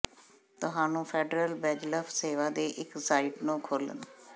ਤੁਹਾਨੂੰ ਫੈਡਰਲ ਬੇਜਲਫ਼ ਸੇਵਾ ਦੇ ਇੱਕ ਸਾਈਟ ਨੂੰ ਖੋਲ੍ਹਣ